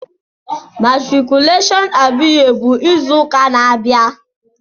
Matriculation Abiye bụ izu ụka na-abịa.